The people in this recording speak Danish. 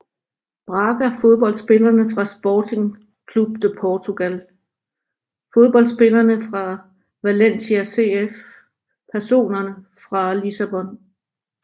Braga Fodboldspillere fra Sporting Clube de Portugal Fodboldspillere fra Valencia CF Personer fra Lissabon